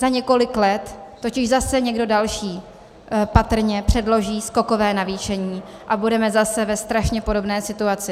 Za několik let totiž zase někdo další patrně předloží skokové navýšení a budeme zase ve strašně podobné situaci.